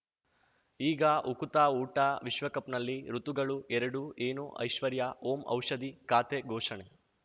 ಈಗ ಉಕುತ ಊಟ ವಿಶ್ವಕಪ್‌ನಲ್ಲಿ ಋತುಗಳು ಎರಡು ಏನು ಐಶ್ವರ್ಯಾ ಓಂ ಔಷಧಿ ಖಾತೆ ಘೋಷಣೆ